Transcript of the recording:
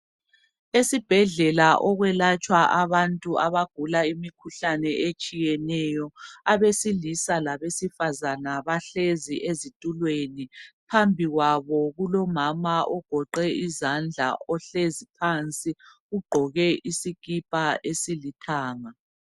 Esibhedlela okwelatshwa abantu abagula imikhuhlane etshiyeneyo, abesilisa labesifazana bahlezi ezitulweni. Phambi kwabo kulomama ogoqe izandla ohlezi phansi. Ugqoke isikipa esilithanga.